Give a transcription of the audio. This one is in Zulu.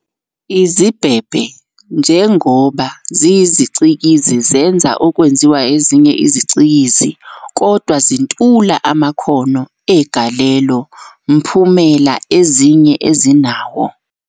Izibhebhe, njengoba ziyizicikizi, zenza okwenziwa ezinye izicikizi, kodwa zintula amakhono egalelo - mphumela ezinye ezinawo.